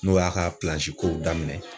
N'o y'a ka pilanzikow daminɛ